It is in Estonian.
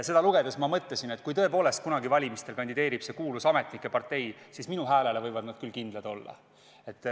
Seda lugedes ma mõtlesin, et kui tõepoolest kunagi valimistel kandideerib see kuulus ametnike partei, siis minu häälele võivad nad küll kindlad olla.